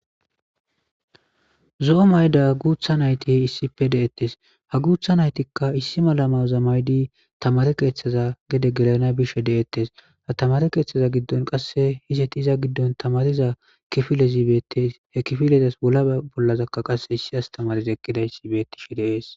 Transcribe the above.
Zo'o mayda guutha nayti he issipe deettes ha guutha naytikka issi malamaza maydi tamare keeththaza gede gelana bishe de'ettes ha tamare keeththaza giddon qasse hizet iza giddon tamariza kifilezi beettes he kifilezas wolaa bollazakka qasse issi astamariza ekkidayssi beettishe deees.